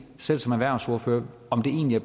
selv som erhvervsordfører om det egentlig